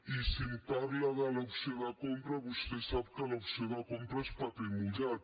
i si em parla de l’opció de compra vostè sap que l’opció de compra és paper mullat